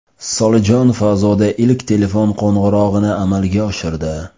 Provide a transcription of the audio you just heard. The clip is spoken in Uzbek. Solijon fazoda ilk telefon qo‘ng‘irog‘ini amalga oshirdi.